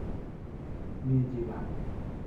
Mi chi kaa?